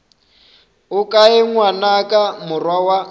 o kae ngwanaka morwa wa